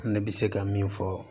Ne bɛ se ka min fɔ